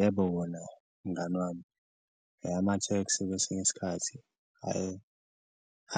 Yebo, wona mngani wami amathekisi kwesinye isikhathi, eye